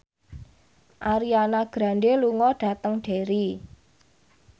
Ariana Grande lunga dhateng Derry